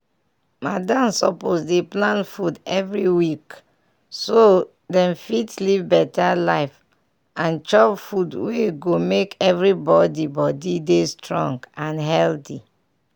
madam suppose dey plan food every week so dem fit live better life and chop food wey go make everybody body dey strong and healthy.